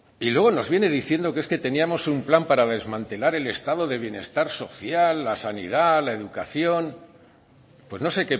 y luego nos viene diciendo que es que teníamos un plan para desmantelar el estado de bienestar social la sanidad la educación pues no sé